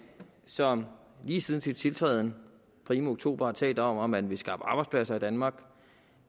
som lige siden sin tiltræden primo oktober har talt om at man vil skaffe arbejdspladser i danmark og